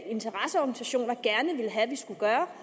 interesseorganisationer gerne ville have vi skulle gøre